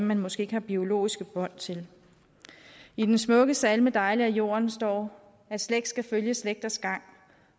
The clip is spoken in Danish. man måske ikke har biologiske bånd til i den smukke salme dejlig er jorden står at slægt skal følge slægters gang